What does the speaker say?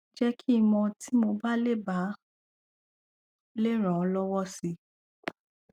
jẹ kí n mọ tí mo bá lè bá lè ràn ọ lọwọ si